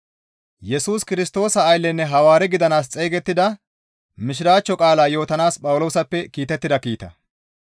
Yesus Kirstoosa ayllenne Hawaare gidanaas xeygettida Mishiraachcho qaalaa yootanaas Phawuloosappe kiitettida kiita.